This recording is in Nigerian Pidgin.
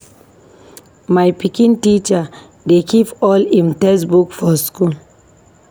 My pikin teacher dey keep all im textbook for school.